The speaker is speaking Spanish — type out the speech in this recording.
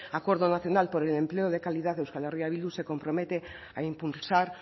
acuerdo nacional por el empleo de calidad euskal herria bildu se compromete a impulsar